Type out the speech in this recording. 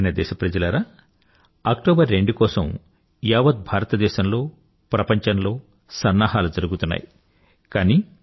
నా ప్రియమైన దేశప్రజలారా అక్టోబర్ 2 కోసం యావత్ భారతదేశంలో ప్రపంచంలో సన్నాహాలు జరుగుతున్నాయి